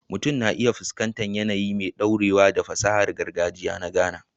Mutum na iya fuskantar yanayi mai ɗorewa da fasahar gargajiya na Ghana